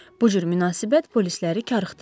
Bu cür münasibət polisləri karıxdırdı.